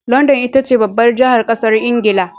London itace babbar jahar ƙasar ingila